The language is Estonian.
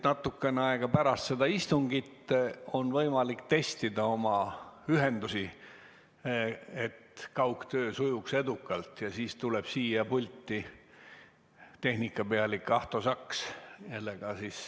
Natuke aega pärast seda istungit tuleb siia pulti tehnikapealik Ahto Saks ja siis on võimalik testida oma ühendusi, et kaugtöö sujuks edukalt.